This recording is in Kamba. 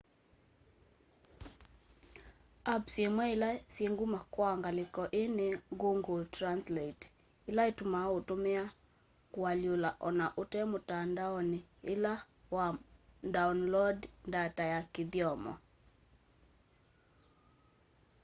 apps imwe ila syi nguma kwa ngaliko ii ni google translate ila itumaa utumia kualyula ona ute mutandaoni ila wa ndaoloondi ndata ya kithyomo